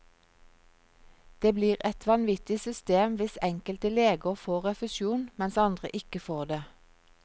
Det blir et vanvittig system hvis enkelte leger får refusjon, mens andre ikke får det.